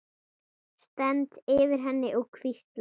Stend yfir henni og hvísla.